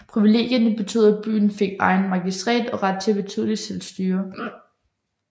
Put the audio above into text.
Privilegierne betød at byen fik egen magistrat og ret til et betydeligt selvstyre